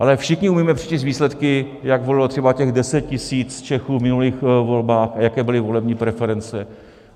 Ale všichni umíme přečíst výsledky, jak volilo třeba těch deset tisíc Čechů v minulých volbách a jaké byly volební preference.